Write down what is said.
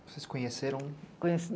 Vocês se conheceram?